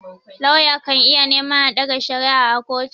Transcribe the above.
Lauya kan iya neman a ɗaga shari'a a kotu.